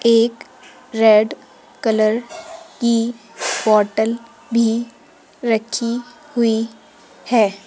एक red colour की bottle भी रखी हुई हैं।